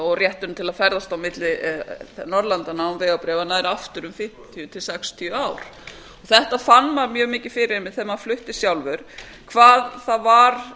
og rétturinn til að ferðast á milli norðurlandanna án vegabréfa nær aftur um fimmtíu til sextíu ár fyrir þessu fann maður mjög mikið þegar maður flutti sjálfur hvað það var